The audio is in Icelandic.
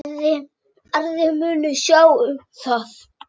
Aðrir munu sjá um það.